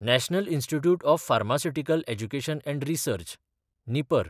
national institute of pharmaceutical education and research (निपर)